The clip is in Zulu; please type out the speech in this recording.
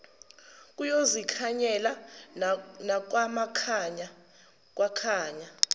kuyozikhanyela nakwamakhanya kwakhanya